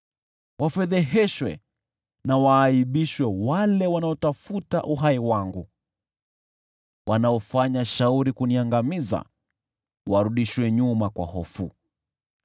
Wafedheheshwe na waaibishwe wale wanaotafuta uhai wangu. Wanaofanya shauri kuniangamiza warudishwe nyuma kwa hofu.